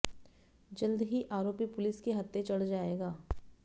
जल्द ही आरोपी पुलिस के हत्थे चढ़ जाएगा